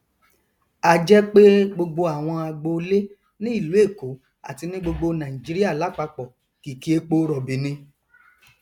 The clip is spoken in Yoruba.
a jẹ pé gbogbo àwọn agbolé ní ìlú èkó àti ní gbogbo nàìjíríà lápapọ kìkì eporọbì ni